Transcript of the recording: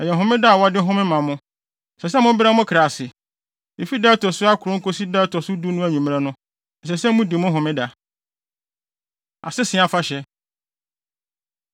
Ɛyɛ Homeda a wɔde home ma mo. Ɛsɛ sɛ mobrɛ mo kra ase. Efi da a ɛto so akron kosi da a ɛto so du no anwummere no, ɛsɛ sɛ mudi mo Homeda.” Asese Afahyɛ